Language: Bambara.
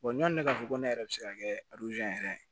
ɲɔni k'a fɔ ko ne yɛrɛ bɛ se ka kɛ yɛrɛ ye